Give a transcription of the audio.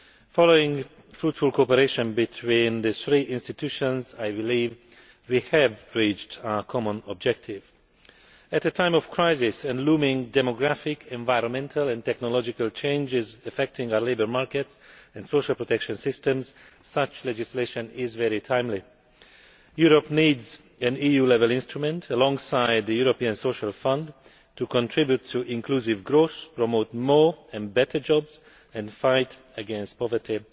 Following fruitful cooperation between the three institutions, I believe we have reached our common objective. At a time of crisis and looming demographic, environmental and technological changes affecting our labour markets and social protection systems, such legislation is very timely. Europe needs an EU level instrument, alongside the European Social Fund, to contribute to inclusive growth, promote more and better jobs and fight against poverty